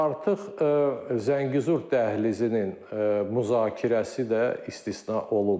Artıq Zəngəzur dəhlizinin müzakirəsi də istisna olunmur.